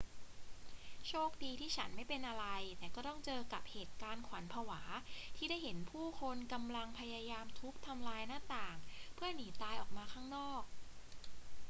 โชคดีที่ฉันไม่เป็นอะไร แต่ก็ต้องเจอกับเหตุการณ์ขวัญผวาที่ได้เห็นผู้คนกำลังพยายามทุบทำลายหน้าต่างเพื่อหนีตายออกมาข้างนอก